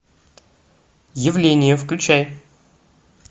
явление включай